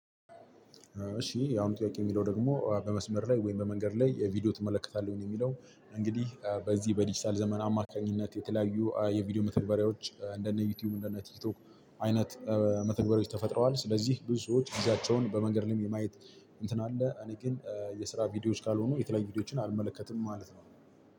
እሺ ያው የአሁኑ ጥያቄ የሚለው ደግሞ በመስመር ላይ ወይም በመንገድ ላይ ቪዲዮ ትመለከታለህ? የሚለው እንግዲህ በዚህ በዲጂታል ዘመን አማካኝነት የተለያዩ የቪዲዮ መተግበሪያዎች እንደነ ዩቲዩብ፣ እንደነ ቲክቶክ አይነት መተግበሪያዎች ተፈጥረዋል ስለዚህ ብዙ ሰዎች ጊዜያቸውን በመንገድ ላይም የማየት እንትን አለ እኔ ግን የስራ ቪዲዮዎች ካልሆኑ የተለያዩ ቪዲዮዎችን አልመለከትም ማለት ነው።